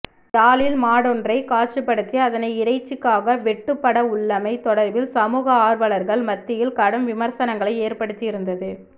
யாழில் மாடொன்றை காட்சிப்படுத்தி அதனை இறைச்சிக்காக வெட்டுப்படவுள்ளமை தொடர்பில் சமூக ஆர்வலர்கள் மத்தியில் கடும் விமர்சனங்களை ஏற்படுத்தி இருந்தது